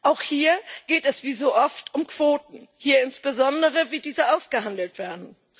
Auch hier geht es wie so oft um Quoten, insbesondere darum, wie diese ausgehandelt werden.